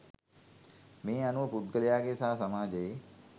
මේ අනුව පුද්ගලයාගේ සහ සමාජයේ